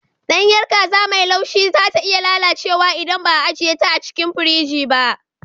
Ɗanyar kaza mai laushi za ta iya lalacewa idan ba a ajiye ta a cikin firji ba.